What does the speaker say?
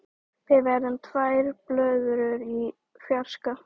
Við verðum tvær blöðrur í fjarska.